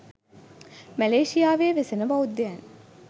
මැලේසියාවේ වෙසෙන බෞද්ධයන්